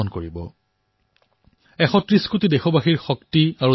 ১৩০ কোটি দেশবাসীৰ ওপৰত মোৰ সম্পূৰ্ণ বিশ্বাস আছে